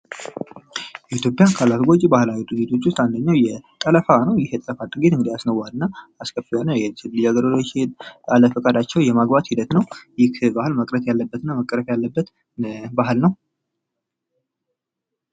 ኢትዮጵያ ካላት ጎጂ ባህላዊ ድርጊቶችን መካከል አንዱ ጠለፋ ነው። ይህ የጠለፋ ድርጊት አስነዋሪ እና አስከፊ የሆነ ልጃገረዶችን ያለ ፈቃዳቸው የማግባት ሂደት ነው። ይህ ባህል መቅረት ያለበት እና መቀረፍ ያለበት ባህል ነው።